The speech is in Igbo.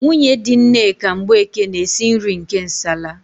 Nwunye di Nneka Mgbeke na-esi nri nke nsala.